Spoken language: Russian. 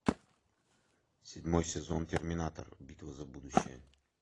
седьмой сезон терминатор битва за будущее